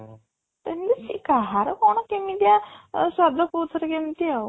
ତ ଏମିତି କାହାର କ'ଣ କେମିତିଆ ଆ ସ୍ୱାଦ କୋଉଥିରେ କେମିତି ଆଉ